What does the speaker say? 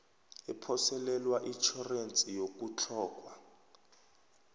ephoselelwa itjhorense yokutlhoga